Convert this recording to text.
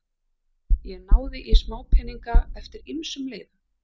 Ég náði í smápeninga eftir ýmsum leiðum.